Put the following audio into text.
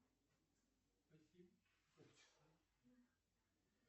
джой повлияли ли на ваши религиозные взгляды встречи с нло